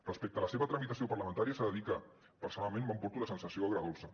respecte a la seva tramitació parlamentària s’ha de dir que personalment me n’emporto una sensació agredolça